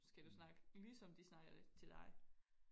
skal du snakke lige som de snakker til dig